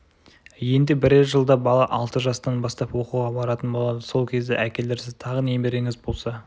енді бірер жылда бала алты жастан бастап оқуға баратын болады сол кезде әкелерсіз тағы немереңіз болса